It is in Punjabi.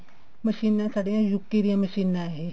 ਮਸ਼ੀਨਾ ਸਾਡੀਆਂ UK ਦੀਆਂ ਮਸ਼ੀਨਾ ਇਹ